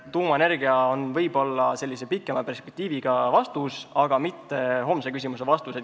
Tuumaenergia on võib-olla pikema perspektiiviga vastus küsimusele, aga mitte vastus homsele küsimusele.